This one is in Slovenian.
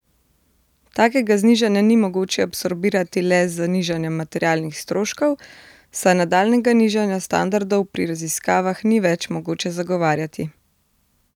Takega znižanja ni mogoče absorbirati le z nižanjem materialnih stroškov, saj nadaljnjega nižanja standardov pri raziskavah ni več mogoče zagovarjati.